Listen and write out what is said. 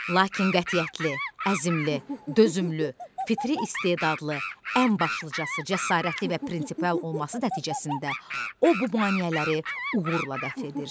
Lakin qətiyyətli, əzmli, dözümlü, fitri istedadlı, ən başlıcası cəsarətli və prinsipal olması nəticəsində o, bu maneələri uğurla dəf edir.